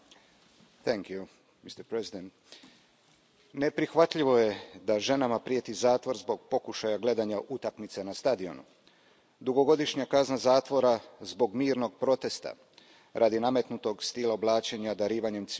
Poštovani predsjedavajući, neprihvatljivo je da ženama prijeti zatvor zbog pokušaja gledanja utakmice na stadionu, dugogodišnja kazna zatvora zbog mirnog protesta radi nametnutog stila oblačenja darivanjem cvijeća na Dan žena.